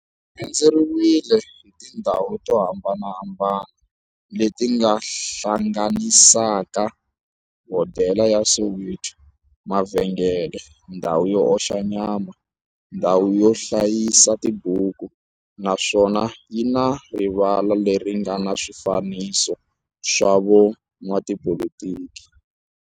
Xi rhendzeriwile hi tindhawu to hambanahambana le ti hlanganisaka, hodela ya Soweto, mavhengele, ndhawu yo oxa nyama, ndhawu yo hlayisa tibuku, naswona yi na rivala le ri nga na swifanekiso swa vo n'watipolitiki.